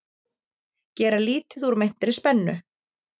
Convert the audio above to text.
Gera lítið úr meintri spennu